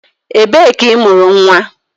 Ebee ka imuru nwa?